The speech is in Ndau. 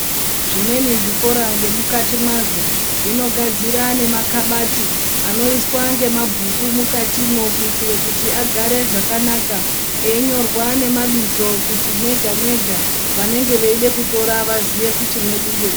Zvimweni zvikora nemukati mwazvo zvino gadzire ne makabati anoiswa ngemabhuku mukatimwo kuitire kuti agare zvakanaka eyinyorwa nemabizo kuti mwega mwega vanenge veyide kutira vaziye kuti mwedu ngemuri.